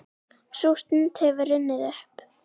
Sú stund hefur runnið upp.